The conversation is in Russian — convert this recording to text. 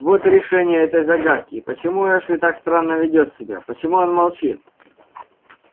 вот и решение этой загадки почему эшли так странно ведёт себя почему он молчит